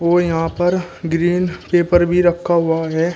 और यहां पर ग्रीन पेपर भी रखा हुआ है।